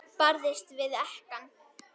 Barðist við ekkann.